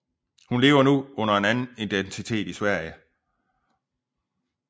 Hun lever nu under en anden identitet i Sverige